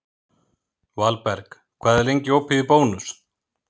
Valberg, hvað er lengi opið í Bónus?